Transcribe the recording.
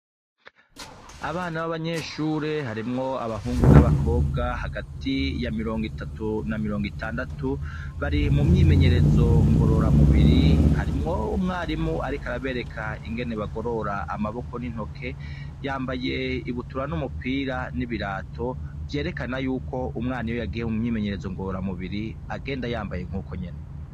Abana b'abanyeshure harimwo abahungu n'abakobwa hagati ya mirongo itatu na mirongo itandatu bari mu myimenyerezo ngorora mubiri harimwo 'umwarimu, ariko arabereka ingene bagorora amaboko n'intoke yambaye ibutura n'umupira n'ibirato vyerekana yuko umwana iye yagiheho mumyimenyerezo ngora mubiri agenda yambaye nk'uko nyene.